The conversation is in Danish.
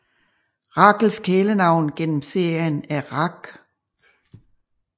Rachels kælenavn gennem serien er Rach